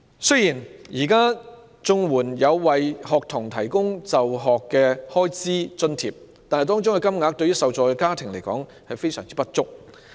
雖然現時綜援有為學童提供就學開支津貼，但相關金額對受助家庭來說十分不足。